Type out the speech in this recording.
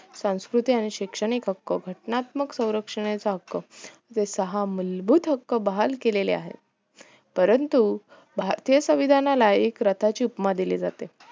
संस्कृतिक आणि शैक्षणिक हक्क घटनात्मक स्वरक्षणेचा हक्क जे मुलभूत हक्क बहाल केले आहे परंतु भारतीय संवेदनाला एक रताची उपमा दिली जाते